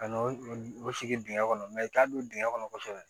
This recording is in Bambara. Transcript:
Ka n'o o sigi dingɛ kɔnɔ i t'a don dingɛ kɔnɔ kosɛbɛ